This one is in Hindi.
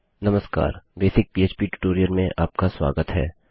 नमस्कार बेसिक पह्प ट्यूटोरियल में आपका स्वागत है